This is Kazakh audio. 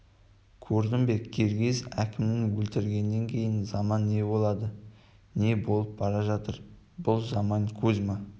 көрдің бе киргиз әкімін өлтіргеннен кейін заман не болады не болып бара жатыр бұл заман кузьма